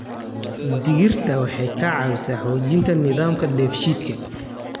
Digirta waxay ka caawisaa xoojinta nidaamka dheef-shiidka.